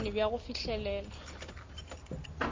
le bokgoni bja go fihlelela